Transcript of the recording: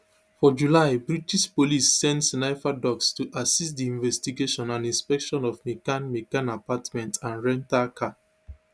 forjuly british police send sniffer dogs to assist di investigation and inspections of mccann mccann apartment and rental car